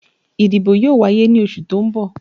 Ìdìbò yóò wáyé ní oṣù tó ń bọ̀